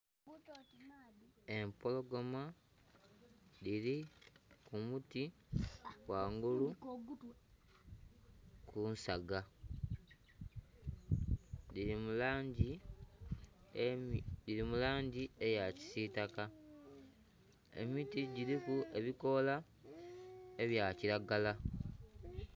Empologoma dhiri kumuti ghangulu kunsaga dhiri mulangi eya kisitaka emiti giriku ebikola ebyakiragala.